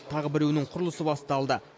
тағы біреуінің құрылысы басталды